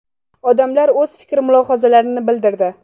Odamlar o‘z fikr-mulohazalarini bildirdi.